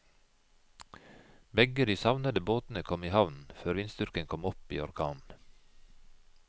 Begge de savnede båtene kom i havn før vindstyrken kom opp i orkan.